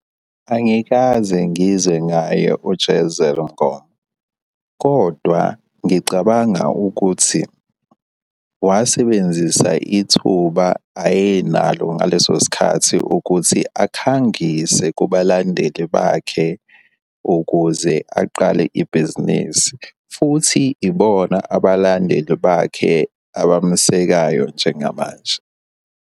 Angikaze ngizwe ngaye u-Jezel Mngoma, kodwa ngicabanga ukuthi wasebenzisa ithuba ayenalo ngaleso sikhathi ukuthi akhangise kubalandeli bakhe ukuze aqale ibhizinisi, futhi ibona abalandeli bakhe abamesekayo njengamanje.